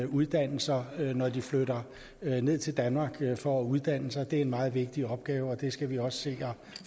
uddannelser når de flytter ned til danmark for at uddanne sig det er en meget vigtig opgave og det skal vi også